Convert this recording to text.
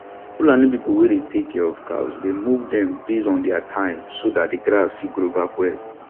fulani people wey dey tak cia of cows dey move dem based on dia time so dat de grass fit grow back well